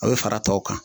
A bɛ fara tɔw kan